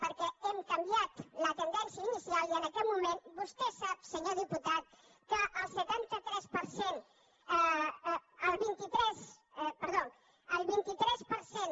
perquè hem canviat la tendència inicial i en aquest moment vostè sap senyor diputat que el setanta tres per cent perdó el vint tres per cent